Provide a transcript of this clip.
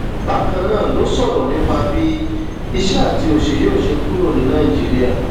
bákan náà ló sọrọ nípa bí ìṣẹ àti òṣì yóò ṣe kúrò ní nàìjíríà